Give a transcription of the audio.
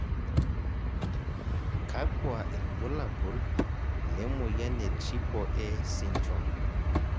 kakua irbulabol le moyian e Triple A syndrome